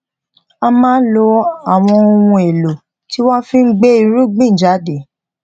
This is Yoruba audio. a máa lo àwọn ohun èlò tí wón fi gbé irúgbìn jáde